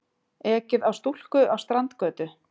Ekið á stúlku á Strandgötu